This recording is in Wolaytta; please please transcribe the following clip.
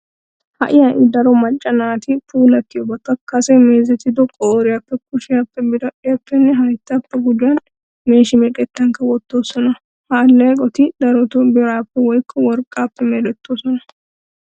Ha"i ha"i daro macca naati puulattiyobata kase meezetido qooriyappe, kushiyappe, biradhdhiyappenne hayttaappe gujuwan meeshi meqettankka wottoosona. Ha alleeqoti darotoo biraappe woykka worqqaappe merettoosona.